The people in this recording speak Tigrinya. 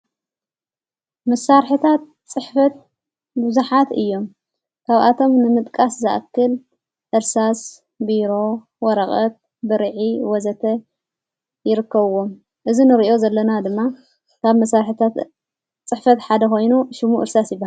መሣርሕታት ጽሕፈት ብዙኃት እዮም ::ካብኣቶም ንምጥቃስ ዝኣክል እርሳስ ቢሮ ወረቐት ብርዒ ወዘተ ይርከዎም እዝ ንርእዮ ዘለና ድማ ካብ መሣርሕታት ጽሕፈት ሓደ ኾይኑ ሹሙ ዕርሳስ ይብሃል ::